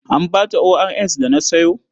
An ba ta ORS da na sayo?